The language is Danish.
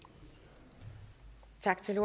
en